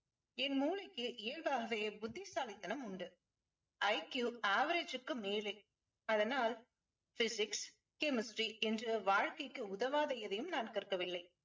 என் மூளைக்கு இயல்பாகவே புத்திசாலித்தனம் உண்டு. IQ average க்கு மேலேஅதனால் physics chemistry என்று வாழ்க்கைக்கு உதவாத எதையும் நான் கற்கவில்லை.